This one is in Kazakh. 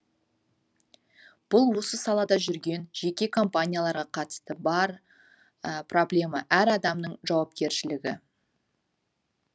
бұл осы салада жүрген жеке компанияларға қатысы бар проблема әр адамның жауапкершілігі